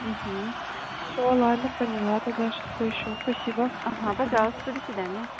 угу все ладно поняла тогда сейчас поищу спасибо угу пожалуйста до свидания